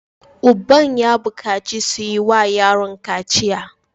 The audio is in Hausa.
Uban ya bukaci su yi wa yaron kaciya!